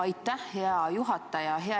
Aitäh, hea juhataja!